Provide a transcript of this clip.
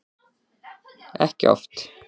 Ekki oft.